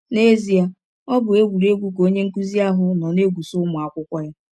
N’ezie, ọ bụ egwụregwụ ka onye nkụzi ahụ nọ na - egwụsa ụmụ akwụkwọ ya.